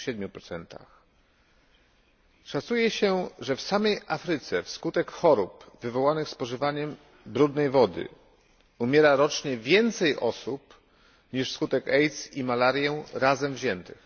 27. Szacuje się, że w samej Afryce wskutek chorób wywołanych spożywaniem brudnej wody umiera rocznie więcej osób niż wskutek AIDS i malarii razem wziętych.